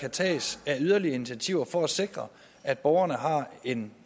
kan tages af yderligere initiativer for at sikre at borgerne har en